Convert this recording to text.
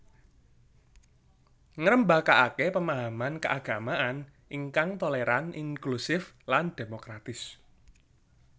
Ngrembakakake pemahaman keagamaan ingkang toleran inklusif lan demokratis